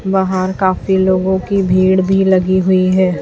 बाहर काफी लोगों की भीड़ भी लगी हुई है।